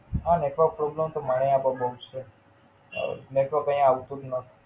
હા, Network problem તો મારે અઇયા પણ બોવ જ છે અઅ નેટવર્ક અઇયા આવતું જ નથી.